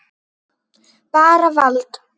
Bara vald.